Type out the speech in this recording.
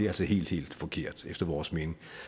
altså helt helt forkert efter vores mening